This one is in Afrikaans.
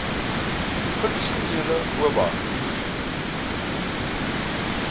funksionele oba